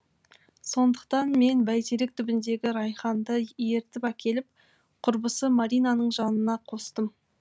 сондықтан мен бәйтерек түбіндегі райханды ертіп әкеліп құрбысы маринаның жанына қостым